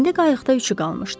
İndi qayıqda üçü qalmışdı.